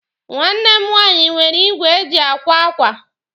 Nwanne m nwaanyị nwere igwe e ji akwa akwa.